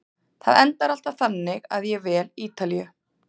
Það endar alltaf þannig að ég vel Ítalíu.